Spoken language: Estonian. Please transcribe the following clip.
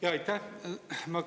Jaa, aitäh!